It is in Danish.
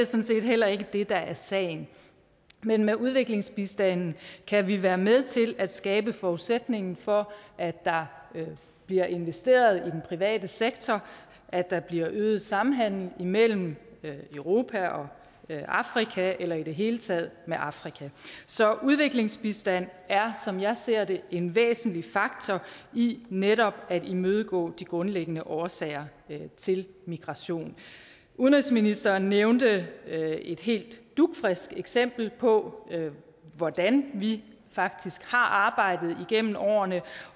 set heller ikke det der er sagen men med udviklingsbistanden kan vi være med til at skabe forudsætningen for at der bliver investeret i den private sektor at der bliver øget samhandel mellem europa og afrika eller i det hele taget med afrika så udviklingsbistand er som jeg ser det en væsentlig faktor i netop at imødegå de grundlæggende årsager til migration udenrigsministeren nævnte et helt dugfrisk eksempel på hvordan vi faktisk har arbejdet gennem årene